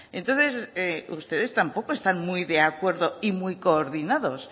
entonces ustedes tampoco están muy de acuerdo y muy coordinados